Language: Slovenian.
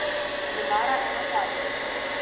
Nemara ena zadnjih.